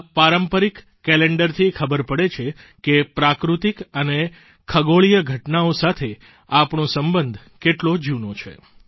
આ પારંપરિક કેલેન્ડરથી ખબર પડે છે કે પ્રાકૃતિક અને ખગોળીય ઘટનાઓ સાથે આપણો સંબંધ કેટલો જૂનો છે